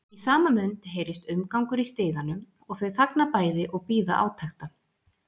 Í sama mund heyrist umgangur í stiganum og þau þagna bæði og bíða átekta.